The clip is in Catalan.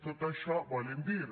tot això volen dir